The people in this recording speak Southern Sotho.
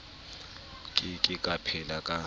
ke ke a phela ka